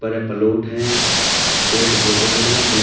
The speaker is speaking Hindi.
ये पलोट हैं पेड़ पौधे खड़े हैं जन--